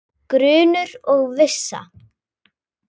Grunur og vissa